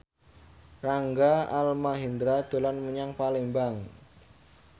Rangga Almahendra dolan menyang Palembang